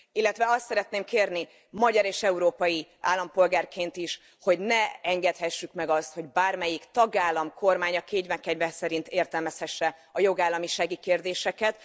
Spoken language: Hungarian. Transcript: Illetve azt szeretném kérni, magyar és európai állampolgárként is, hogy ne engedhessük meg azt, hogy bármelyik tagállam kormánya kénye kedve szerint értelmezhesse a jogállamisági kérdéseket.